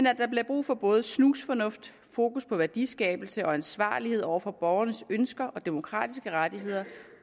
at der bliver brug for både snusfornuft fokus på værdiskabelse og ansvarlighed over for borgernes ønsker og demokratiske rettigheder